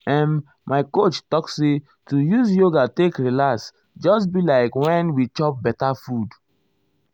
em my coach talk say to use yoga take relax just be like wen we chop beta food.